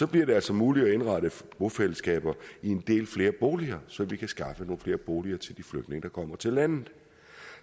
bliver det altså muligt at indrette bofællesskaber i en del flere boliger så vi kan skaffe nogle flere boliger til de flygtninge der kommer til landet